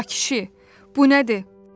A kişi, bu nədir?